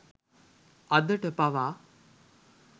අදට පවා